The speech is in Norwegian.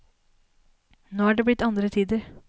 Nå er det blitt andre tider.